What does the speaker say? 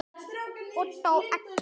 Og þó ekki.